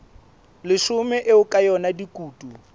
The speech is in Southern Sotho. leshome eo ka yona dikutu